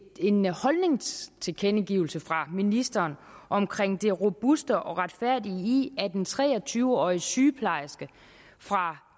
en holdningstilkendegivelse fra ministeren om det robuste og retfærdige i at en tre og tyve årig sygeplejerske fra